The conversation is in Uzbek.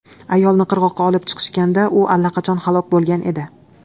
Ayolni qirg‘oqqa olib chiqishganda, u allaqachon halok bo‘lgan edi.